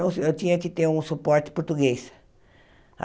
se, eu tinha que ter um suporte português.